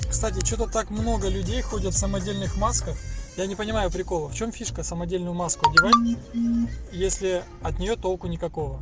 что-то так много людей ходят самодельных масках я не понимаю прикола в чем фишка самодельную маску одевать если от нее толку нет